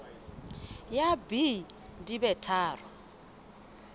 ya b di be tharo